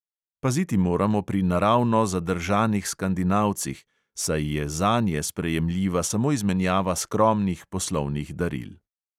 Paziti moramo pri naravno zadržanih skandinavcih, saj je zanje sprejemljiva samo izmenjava skromnih poslovnih daril.